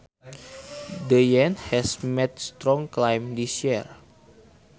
The Yen has made a strong climb this year